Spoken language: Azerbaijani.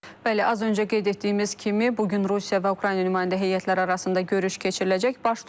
Bəli, az öncə qeyd etdiyimiz kimi, bu gün Rusiya və Ukrayna nümayəndə heyətləri arasında görüş keçiriləcək.